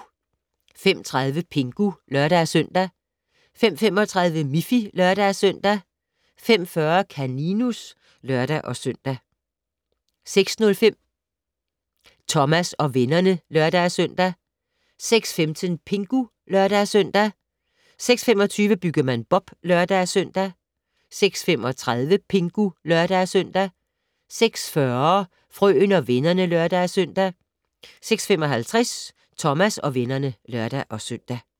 05:30: Pingu (lør-søn) 05:35: Miffy (lør-søn) 05:40: Kaninus (lør-søn) 05:50: Brandmand Sam (lør-søn) 06:05: Thomas og vennerne (lør-søn) 06:15: Pingu (lør-søn) 06:25: Byggemand Bob (lør-søn) 06:35: Pingu (lør-søn) 06:40: Frøen og vennerne (lør-søn) 06:55: Thomas og vennerne (lør-søn)